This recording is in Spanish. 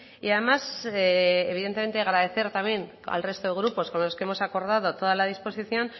y además evidentemente agradecer también al resto de grupos con los que hemos acordado toda la disposición